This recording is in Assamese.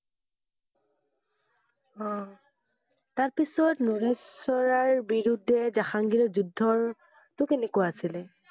অ, তাৰপিছত নৰেশ্বাৰৰ বিৰুদ্ধে জাহাঙ্গীৰৰ যুদ্ধটো কেনেকুৱা আছিলে?